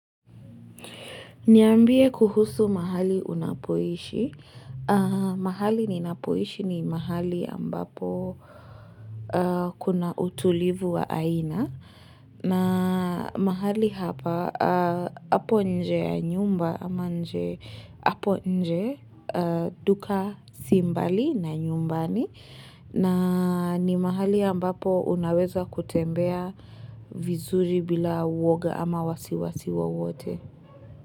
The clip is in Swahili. Niambie kuhusu mahali unapoishi. Mahali ninapoishi ni mahali ambapo kuna utulivu wa aina. Na mahali hapa, hapo nje ya nyumba ama nje, hapo nje duka si mbali na nyumbani. Na ni mahali ambapo unaweza kutembea vizuri bila uoga ama wasiwasi wowote.